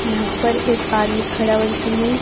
यहां पर एक आदमी खड़ा हुआ जिसने--